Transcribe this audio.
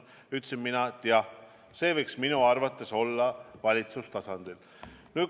Mina ütlesin, et arengukavad võiks minu arvates olla valitsustasandil.